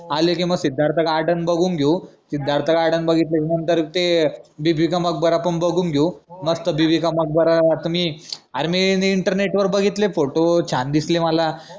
आले की मग सिद्धार्थ garden बघून घेऊ सिद्धार्थ garden बघितलं की नंतर ते बिबिका मकबरा पन बघून घेऊ मग तो बिबिका मकबरा त मी अर मी इंटरनेट वर बघितले photo छान दिसले मला